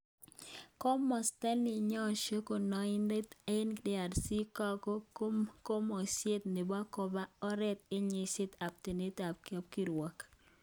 Komosta neyesho kondoinatet en DRC kako komuiset nebo koba oret en yeshet ab tononet ab kapkirwok